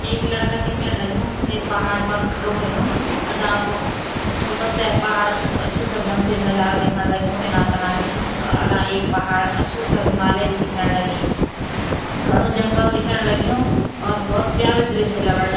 एक लड़का दिखैंण लग्युं ते पहाड़ पर खडो हुयुं अगां को मतलब तै पहाड़ को अच्छू स ढंग से नजारा देखण लग्युं इना तना बिटिन और अगां एक पहाड़ अच्छू स हिमालय भी दिख्यण लगीं घणु जंगल दिख्येण लग्यूं और भौत प्यारु दृश्य लगण लग।